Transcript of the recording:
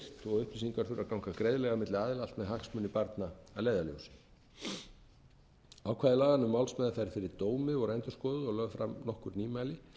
og upplýsingar þurfa að ganga greiðlega með hagsmuni barna að leiðarljósi ákvæði laganna um málsmeðferð fyrir dómi voru endurskoðuð og lögð fram nokkur nýmæli